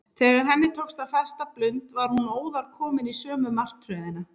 Þegar henni tókst að festa blund var hún óðar komin í sömu martröðina.